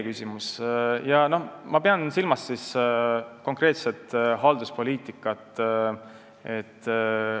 Siin ma pean silmas konkreetset halduspoliitikat.